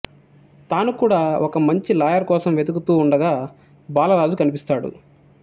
తాను కూడా ఒక మంచి లాయర్ కోసం వెదుకుతూ ఉండగా బాలరాజు కనిపిస్తాడు